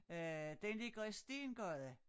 Øh den ligger i Stengade